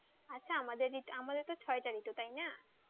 আচ্ছা আমাদের তো ছয়টা ঋতু তাইনা?